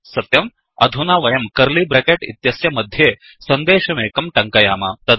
सत्यं अधुना वयं कर्लि ब्रेकेट् इत्यस्य मध्ये सन्देशमेकं टङ्कयाम